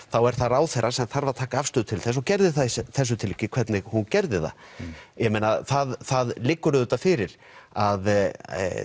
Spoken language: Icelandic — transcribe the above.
þá er það ráðherra sem þarf að taka afstöðu til þess og gerði það í þessu tilviki hvernig hún gerði það ég meina það það liggur auðvitað fyrir að